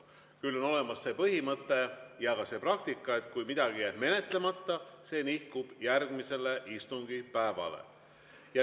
Küll aga on olemas see põhimõte ja praktika, et kui midagi jääb menetlemata, siis see nihkub järgmisele istungipäevale.